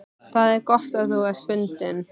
Það er gott að þú ert fundinn.